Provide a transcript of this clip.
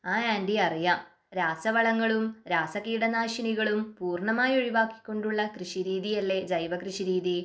ആ ആൻറി അറിയാം രാസവളങ്ങളും രാസകീടനാശിനികളും പൂർണമായി ഒഴിവാക്കി കൊണ്ടുള്ള കൃഷിരീതി അല്ലേ ജൈവകൃഷിരീതി